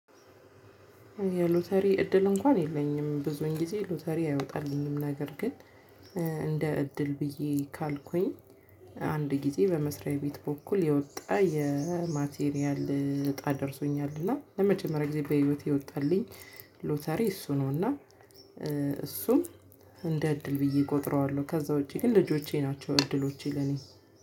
የሎተሪ እድል እንኳን የለኝም ብዙን ጊዜ ሎተሪ አይወጣልንም ነገር ግን እንደ እድል ብዬ ካልኩኝ። አንድ ጊዜ በመስሪያ ቤት በኩል የወጣ የማቴሪያል እጣ ደርሶኛል እና ለመጀመሪያ ጊዜ በህይወቴ የወጣልኝ ሎተሪ እሱ ነው። እና እሱም እንደ እድል ብዬ እቆጥረዋለሁ። ከዛ ውጪ ግን ልጆቼ ናቸው እድሎቼ ለኔ።